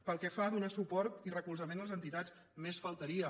pel que fa a donar suport i recolzament a les entitats només faltaria